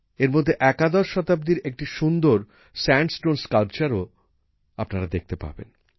এরমধ্যে একাদশ শতাব্দীর একটি সুন্দর সান্ডস্টোনএর স্থাপত্যও আপনারা দেখতে পাবেন